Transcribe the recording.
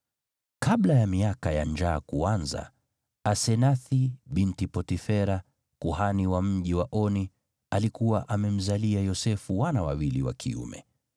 Kabla ya miaka ya njaa kuanza, Asenathi binti Potifera, kuhani wa mji wa Oni, alikuwa amemzalia Yosefu wana wawili wa kiume.